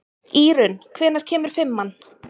Írunn, hvenær kemur fimman?